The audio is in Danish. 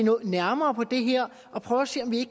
nærmere på det her og prøve at se om vi